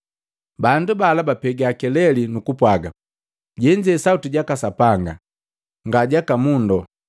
Bandu bala bapega keleli nukupwaga, “Jenze sauti jaka sapanga, nga jaka mundo.”